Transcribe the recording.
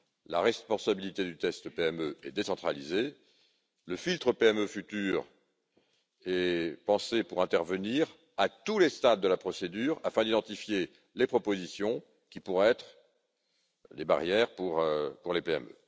La responsabilité du test PME est décentralisée. Le futur filtre PME est pensé pour intervenir à tous les stades de la procédure, afin d'identifier les propositions qui pourraient être des barrières pour les